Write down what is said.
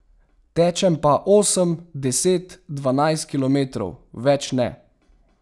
Tečem pa osem, deset, dvanajst kilometrov, več ne.